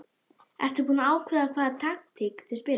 Ertu búinn að ákveða hvaða taktík þið spilið?